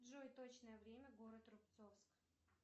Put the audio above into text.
джой точное время город рубцовск